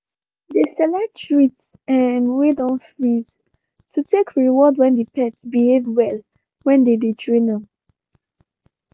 they select treats um wey don freeze to take reward when the pet behave well when they dey train am.